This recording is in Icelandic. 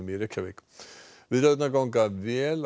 í Reykjavík viðræðurnar ganga vel